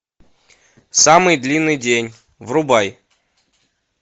самый длинный день врубай